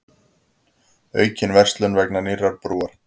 Aukin verslun vegna nýrrar brúar